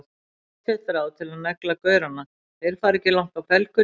Pottþétt ráð til að negla gaurana, þeir fara ekki langt á felgunni!